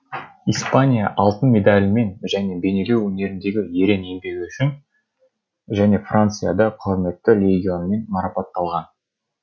испания алтын медалімен және бейнелеу өнеріндегі ерен еңбегі үшін және францияда құрметті легионмен марапатталған